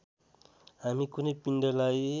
हामी कुनै पिण्डलाई